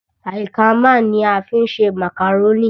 Àlìkámà ní a fi ń ṣe màkàrónì.